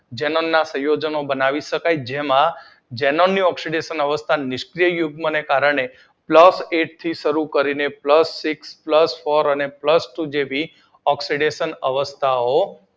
xenon ના સંયોજનો બનાવી શકાય જેમાં ઝેનોન ની ઓક્સીડેશન અવસ્થા નિષ્કરીય યુગ્મ ના કારણે પ્લસ એક થી શરૂ કરીને પ્લસ સિક્સ પ્લસ ફોર અને પ્લસ ટુ જેવી ઓક્સીડેશન અવસ્થા ઑ બનાવે